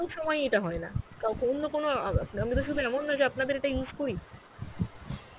সময় ই ইটা হয়েনা অন্য কোনো আ অমি তো সুধু এমন নিয়ে যে আপনাদের এটা use করি